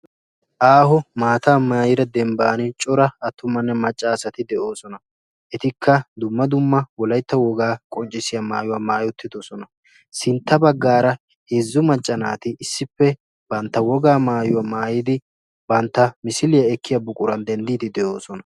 Aaho maatta maayidda dembban coraa atumanne macanne naati de'osonna. Ettikka dumma dumma wolaytta wogaa qonccissiya maayuwaa maayi uttidoosna. sintta baggaaraa heezzu macca naati issippe bantta wogaa maayuwa maayidi eta misiliya ekkiya buquran denddidi de'oosona.